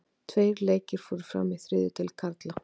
Tveir leikir fóru fram í þriðju deild karla.